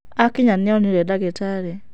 Akinya nĩ onire ndagitarĩ.